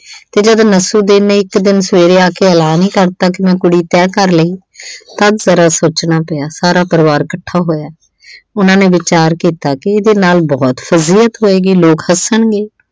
ਤੇ ਜਦੋਂ ਨਸੂਦੀਨ ਨੇ ਇੱਕ ਦਿਨ ਸਵੇਰੇ ਆ ਕੇ ਐਲਾਨ ਈ ਕਰਤਾ ਕਿ ਮੈਂ ਕੁੜੀ ਤੈਅ ਕਰ ਲਈ ਤਦ ਜ਼ਰਾ ਸੋਚਣਾ ਪਿਆ। ਸਾਰਾ ਪਰਿਵਾਰ ਇੱਕਠਾ ਹੋਇਆ। ਉਹਨਾਂ ਨੇ ਵਿਚਾਰ ਕੀਤਾ ਕਿ ਇਹਦੇ ਨਾਲ ਬਹੁਤ ਹੋਏਗੀ, ਲੋਕ ਹੱਸਣਗੇ।